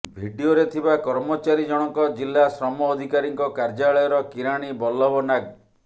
ଭିଡିଓରେ ଥିବା କର୍ମଚାରୀ ଜଣଙ୍କ ଜିଲ୍ଲା ଶ୍ରମ ଅଧିକାରୀଙ୍କ କାର୍ଯ୍ୟାଳୟର କିରାଣୀ ବଲ୍ଲଭ ନାଗ